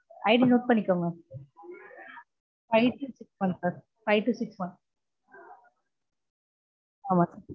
IDnote பண்ணிக்கோங்க five two six one sir five two six one ஆமா